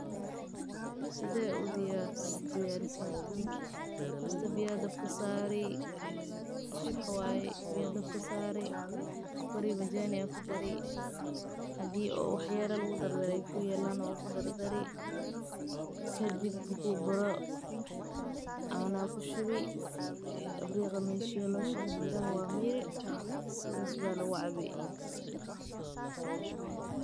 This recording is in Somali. Sidee u diyariya tan sokor ayaa kudari wax yar marki iigu horeyse aan qabto.